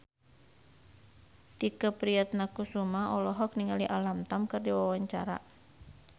Tike Priatnakusuma olohok ningali Alam Tam keur diwawancara